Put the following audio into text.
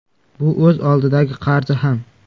Bu o‘z oldidagi qarzi ham.